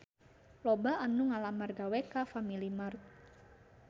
Loba anu ngalamar gawe ka Family Mart